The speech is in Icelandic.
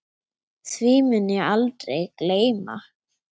Því mun ég aldrei gleyma.